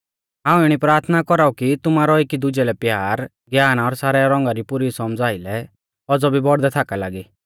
हाऊं इणी प्राथना कौराउ कि तुमारौ एकी दुजै लै प्यार ज्ञान और सारै रौंगा री पुरी सौमझ़ा आइलै औज़ौ भी बौड़दै थाकौ लागी